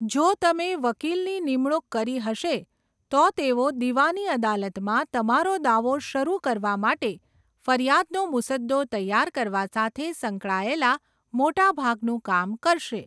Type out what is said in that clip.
જો તમે વકીલની નિમણૂક કરી હશે, તો તેઓ દીવાની અદાલતમાં તમારો દાવો શરૂ કરવા માટે ફરિયાદનો મુસદ્દો તૈયાર કરવા સાથે સંકળાયેલા મોટા ભાગનું કામ કરશે.